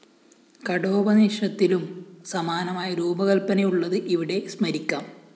കഠോപനിഷത്തിലും സമാനമായ രൂപകല്‍പ്പനയുള്ളത് ഇവിടെ സ്മരിക്കാം